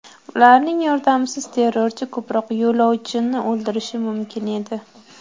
Ularning yordamisiz terrorchi ko‘proq yo‘lovchini o‘ldirishi mumkin edi.